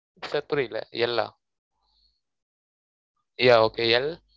sir புரியல L ah yeah okayL